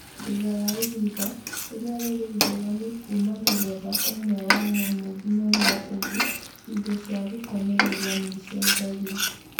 Thutha wa ihinda, rĩrĩa rĩrĩngũrani kuuma mũthemba ũmwe wa nyamũ nginyagia ũngĩ, indo cia gũkomereria nĩicenjagia